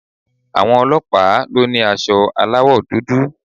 Àwọn ọlọ́pàá ló ni aṣọ aláwò dúdú